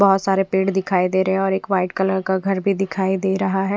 बोहोत सारे पेड़ दिखाई दे रहे है और एक वाइट कलर का घर भी दिखाई दे रहा है।